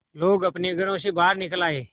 लोग अपने घरों से बाहर निकल आए